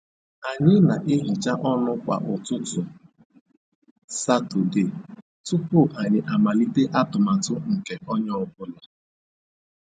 Anyị na-ehicha ọnụ kwa ụtụtụ Satọde tupu anyị amalite atụmatụ nke onye ọ bụla